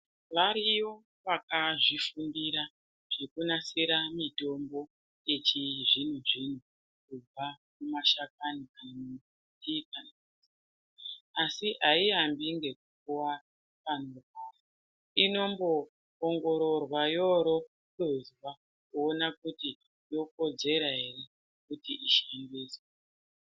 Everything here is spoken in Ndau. Variyo vakazvifundira zvekunasira mitombo yechizvino zvino ,kubva mumashakani. Asi hayi yambinge kupiwa vanhu ino mbowongororwa yorofezwa kuona kuti inokodzerwa here kuti ishandiswe.